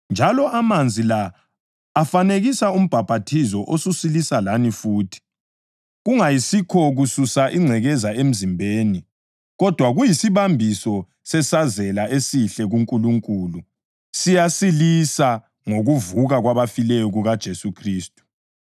njalo amanzi la afanekisa umbhaphathizo osusilisa lani futhi, kungayisikho kususa ingcekeza emzimbeni kodwa kuyisibambiso sesazela esihle kuNkulunkulu. Siyalisilisa ngokuvuka kwabafileyo kukaJesu Khristu,